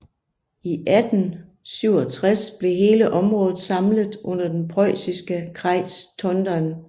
I 1867 blev hele området samlet under den prøjsiske Kreis Tondern